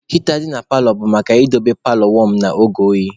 Heater dị na paalọ bụ maka idobe paalọ wọm n'oge oyi.